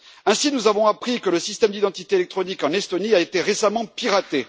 Ainsi, nous avons appris que le système d'identité électronique en Estonie avait été récemment piraté.